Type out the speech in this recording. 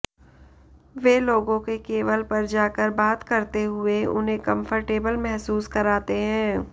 वे लोगों के लेवल पर जाकर बात करते हुए उन्हें कम्फर्टेबल महसूस कराते हैं